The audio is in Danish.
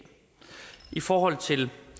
i forhold til